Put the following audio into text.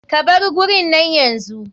Ka bar gurin nan yanzu.